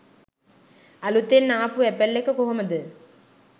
අලුතෙන් ආපු ඇපල් එක කොහොමද